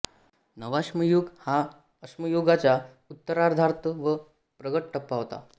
नवाश्मयुग हा अश्मयुगाचा उत्तरार्ध व प्रगत टप्पा होता